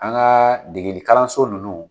An ka degeli kalanso nunnu